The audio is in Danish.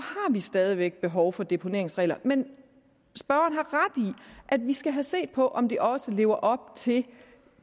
har vi stadig væk behov for deponeringsregler men i at vi skal have set på om de også lever op til